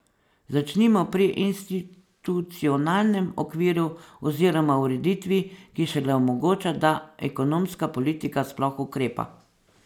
Začnimo pri institucionalnem okviru oziroma ureditvi, ki šele omogoča, da ekonomska politika sploh ukrepa.